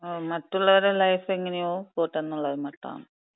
മറ്റുള്ളവരുടെ ലൈഫ് എങ്ങനെയോ പോട്ടെന്നുള്ള ഒര് മട്ടാണ്.